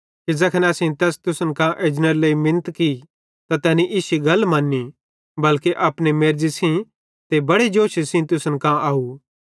कि ज़ैखन असेईं तैस तुसन कां एजनेरे लेइ मिनत की त तैनी इश्शी गल मन्नी बल्के अपने मेर्ज़ी सेइं ते बड़े जोशे सेइं तुसन कां आव